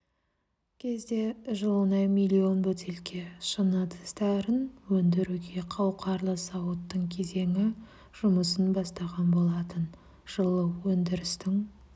кезде жылына миллион бөтелке шыны ыдыстарын өндіруге қауқарлы зауыттың кезеңі жұмысын бастаған болатын жылы өндірістің